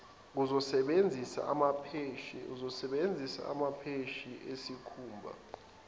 uzosebenzisa amapheshi esikhumba